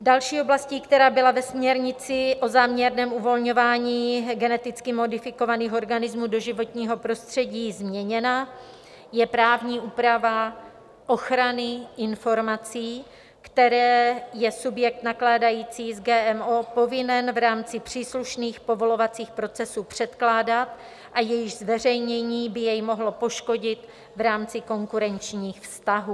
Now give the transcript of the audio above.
Další oblastí, která byla ve směrnici o záměrném uvolňování geneticky modifikovaných organismů do životního prostředí změněna, je právní úprava ochrany informací, které je subjekt nakládající s GMO povinen v rámci příslušných povolovacích procesů předkládat a jejichž zveřejnění by jej mohlo poškodit v rámci konkurenčních vztahů.